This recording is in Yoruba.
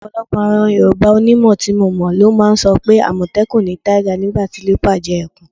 Ò̩pò̩lo̩pò̩ àwo̩n Yorùbá onímò̩ tí mo mò̩ ló máa ń so̩ pé: “àmò̩té̩kùn ni tiger, nígbà tí leopard jé̩ e̩kùn.”